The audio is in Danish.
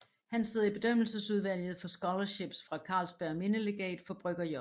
Han sidder i bedømmelsesudvalget for scholarships fra Carlsbergs Mindelegat for Brygger J